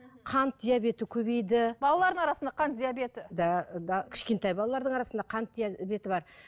қант диабеті көбейді балалардың арасында қант диабеті да да кішкентай балалардың арасында қант диабеті бар